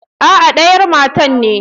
Aa nayar matar ne.